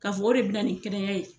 Ka fɔ o de bɛna nin kɛnɛya ye.